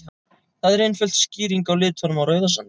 Það er einföld skýring á litnum á Rauðasandi.